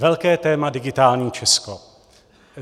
Velké téma - digitální Česko.